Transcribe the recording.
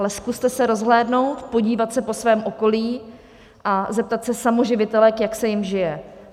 Ale zkuste se rozhlédnout, podívat se po svém okolí a zeptat se samoživitelek, jak se jim žije.